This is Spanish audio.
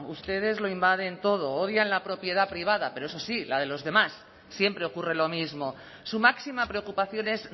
ustedes lo invaden todo odian la propiedad privada pero eso sí la de los demás siempre ocurre lo mismo su máxima preocupación es